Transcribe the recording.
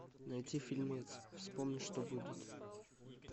найти фильмец вспомни что будет